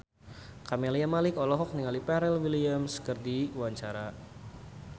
Camelia Malik olohok ningali Pharrell Williams keur diwawancara